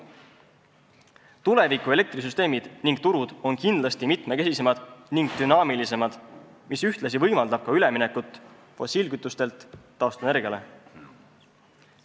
Tuleviku elektrisüsteemid ning -turud on kindlasti mitmekesisemad ning dünaamilised, mis ühtlasi võimaldab üleminekut fossiilkütustelt taastuvenergiale.